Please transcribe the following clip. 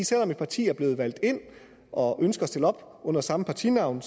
selv om et parti er blevet valgt ind og ønsker at stille op under samme partinavn